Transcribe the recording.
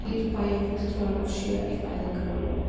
Þrír bæjarfulltrúar af sjö í fæðingarorlofi